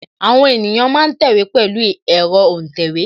Àwọn ènìyàn ma ń tẹ̀wé pẹ̀lu ẹ̀rọ́ òǹtẹ̀wé